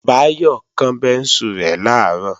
Báyọ̀ kán bẹ́ńsù rẹ̀ làárọ̀